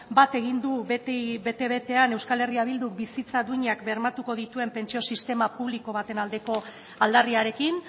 bat egin du beti bete betean eh bilduk bizitza duinak bermatuko dituen pentsio sistema publiko baten aldeko aldarriarekin